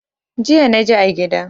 Jiya naji a gida.